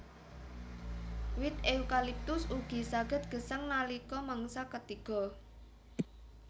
Wit eukaliptus ugi saged gesang nalika mangsa katiga